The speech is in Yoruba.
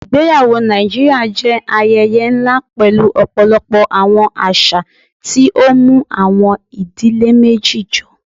Ìgbẹyàwọ̀ Nàìjíríà jẹ́ ayẹyẹ̀ nlá pẹ̀lú ọ̀pọ̀lọpọ̀ awọn àṣà, tí ó mú awọn ìdílé méjì jọ.